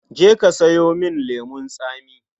Je ka sayo min lemon tsami.